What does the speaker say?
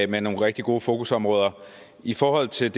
med nogle rigtig gode fokusområder i forhold til